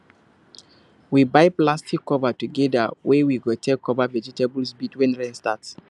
we buy plastic cover togeda wey we go take cover vegetable baeds when rain start